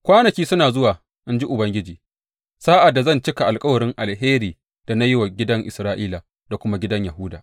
Kwanaki suna zuwa,’ in ji Ubangiji, sa’ad da zan cika alkawarin alheri da na yi wa gidan Isra’ila da kuma gidan Yahuda.